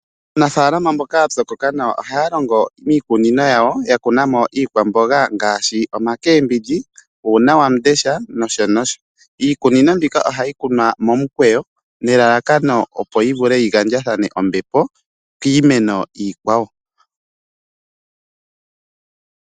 Aanafaalama mboka ya pyokoka nawa ohaa longo iikunino yawo ya kuna mo iikwamboga ngaashi omacabbage nuunawamundesha nosho tuu. Iikunino mbika ohayi kunwa momikweyo nelalakano opo yi gandje ombepo kiimeno iikwawo.